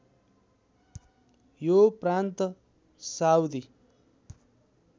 यो प्रान्त साउदी